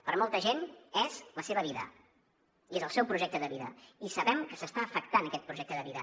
per a molta gent és la seva vida i és el seu projecte de vida i sabem que s’està afectant aquest projecte de vida